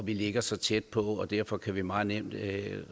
vi ligger så tæt på derfor kan vi meget nemt